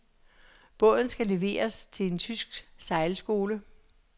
Båden skal leveres til en tysk sejlskole.